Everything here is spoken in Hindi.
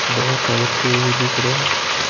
बहुत सारे पेड़ भी दिख रहे है।